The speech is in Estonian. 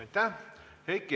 Aitäh!